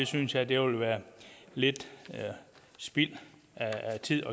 synes jeg jeg ville være lidt spild af tid